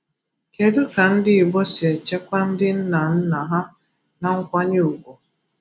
Kedu ka ndi Igbo si echekwa ndi nna nna ha na nkwanye ùgwù?